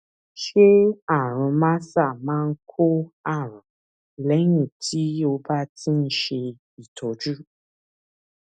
ṣé àrùn mrsa máa ń kó àrùn lẹyìn tí o bá ti ń ṣe ìtọjú